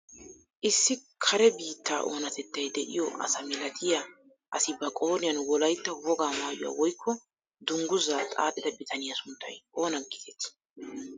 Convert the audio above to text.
Issi kare biittaa onatettay de'iyoo asa milatiyaa asi ba qooriyaan wolaytta wogaa mayuwaa woykko dungguzaa xaaxida bitaniyaa sunttay oona getettii?